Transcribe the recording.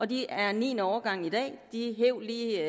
de er niende årgang i dag de hev lige